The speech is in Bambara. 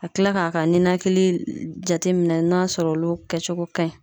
Ka kila k'a ka ninakili jate minɛ n'a sɔrɔ olu kɛcogo ka ɲi.